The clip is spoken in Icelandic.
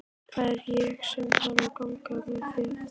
Það er ég sem þarf að ganga með það.